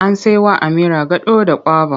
An sai wa Amira gado da kwaba.